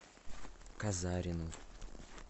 казарину